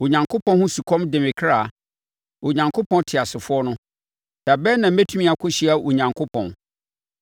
Onyankopɔn ho sukɔm de me kra, Onyankopɔn teasefoɔ no. Da bɛn na mɛtumi akɔhyia Onyankopɔn?